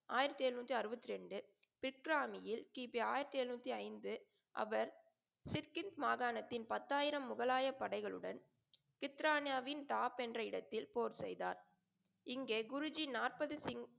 ஆயிரத்தி எண்ணுாத்தி அறுபத்தி ரெண்டு, சிட்ராமியில் கி. பி ஆயிரத்தி எழுநூத்தி ஐந்து அவர் சிச்கின் மாகாணத்தின் பத்தாயிரம் முகலாய படைகளுடன் சித்ரான்யாவின் தாப் என்ற இடத்தில் போர் செய்தார். இங்கே குருஜி நாற்பது சிங்,